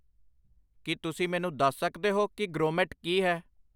ਕੀ ਤੁਸੀਂ ਮੈਨੂੰ ਦੱਸ ਸਕਦੇ ਹੋ ਕਿ ਗ੍ਰੋਮੇਟ ਕੀ ਹੈ